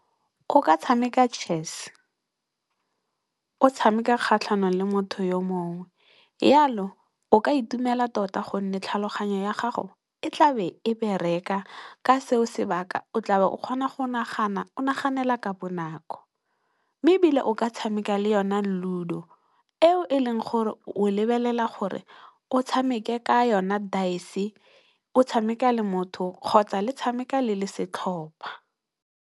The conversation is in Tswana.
O ka tshameka Chess o tshameka kgatlhanong le motho yo mongwe, yalo o ka itumela tota gonne tlhaloganyo ya gago e tla be e bereka, ka seo se baka o tlabe o kgona go nagana, o naganela ka bonako. Mme, ebile o ka tshameka le yona Ludo eo e leng gore o lebelela gore o tshameke ka yona daese, o tshameka le motho kgotsa le tshameka le le setlhopha.